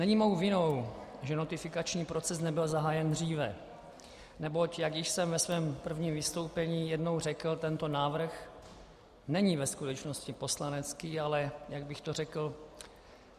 Není mou vinou, že notifikační proces nebyl zahájen dříve, neboť jak již jsem ve svém prvním vystoupení jednou řekl, tento návrh není ve skutečnosti poslanecký, ale - jak bych to řekl?